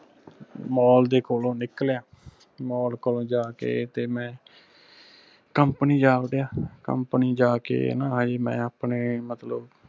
mall ਦੇ ਕੋਲੋਂ ਨਿਕਲਿਆ mall ਕੋਲੋਂ ਜਾ ਕੇ ਤੇ ਮੈਂ company ਜਾ ਵਧਿਆ company ਜਾ ਕੇ ਨਾ ਮੈਂ ਆਪਣੇ ਮਤਲਬ